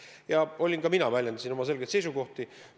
Ja ka mina väljendasin oma selgeid seisukohti.